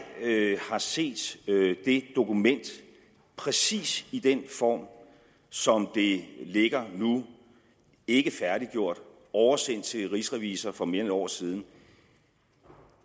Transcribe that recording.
har set det dokument præcis i den form som det ligger nu ikkefærdiggjort oversendt til rigsrevisor for mere end et år siden